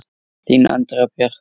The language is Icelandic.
Þín Andrea Björk.